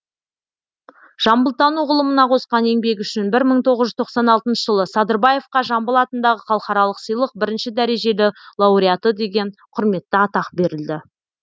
жамбылтану ғылымына қосқан еңбегі үшін бір мың тоғыз жүз тоқсан алтыншы жылы садырбаевқа жамбыл атындағы халықаралық сыйлық бірінші дәрежелі лауреаты деген құрметті атақ берілді